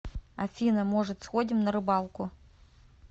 афина может сходим на рыбалку